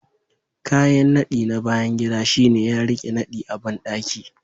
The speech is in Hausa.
Kayan nadi na bayan gida shine ya rike nadi a bandaki